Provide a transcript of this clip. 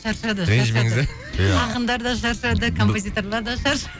шаршады ақындар да шаршады композиторлар да